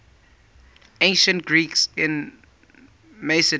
ancient greeks in macedon